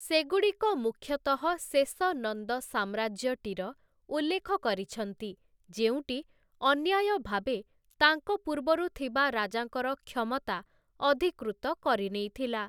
ସେଗୁଡ଼ିକ ମୁଖ୍ୟତଃ ଶେଷ ନନ୍ଦ ସାମ୍ରାଜ୍ୟଟିର ଉଲ୍ଲେଖ କରିଛନ୍ତି, ଯେଉଁଟି ଅନ୍ୟାୟଭାବେ ତାଙ୍କ ପୂର୍ବରୁ ଥିବା ରାଜାଙ୍କର କ୍ଷମତା ଅଧିକୃତ କରିନେଇଥିଲା ।